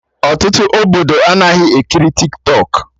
Ọtụtụ Obodo anaghị ekiri Tiktọk